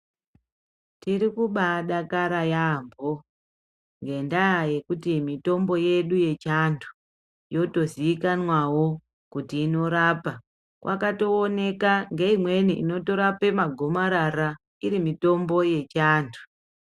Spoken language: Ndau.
Tiri kubaadakara yaambo ngendaa yekuti mitombo yedu yechiantu yotozikanwawo kuti inorapa. Kwakatooneka ngeimweni inotorape magomarara iri mitombo yechianthu.